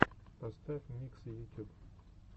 поставь миксы ютюб